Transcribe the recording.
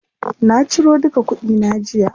Na ciro duka kuɗi na jiya.